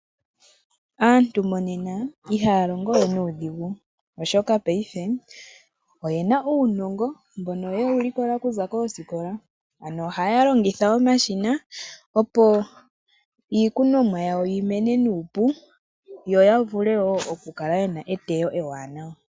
Aantu monena ihaya longo we nuudhigu oshoka, paife oyena uunongo mboka yewu likola kuza koosikola, ano ohaya longitha omashina opo iikunomwa yawo yimene nuupu yo yavule wo okukala yena etewo ewanawa.